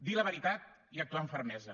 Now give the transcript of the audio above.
dir la veritat i actuar amb fermesa